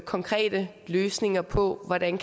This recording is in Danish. konkrete løsninger på hvordan